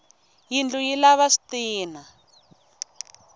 yindlu yi lava switina